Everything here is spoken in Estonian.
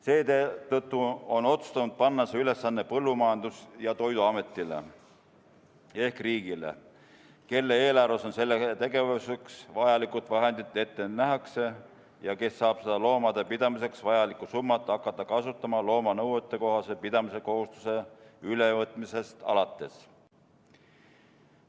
Seetõttu on otsustatud panna see ülesanne Põllumajandus- ja Toiduametile ehk riigile, kelle eelarves selleks tegevuseks vajalikud vahendid ette nähakse ja kes saab seda loomade pidamiseks vajalikku summat hakata kasutama looma nõuetekohase pidamise kohustuse ülevõtmisest alates.